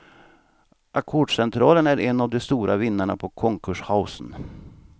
Ackordscentralen är en av de stora vinnarna på konkurshaussen.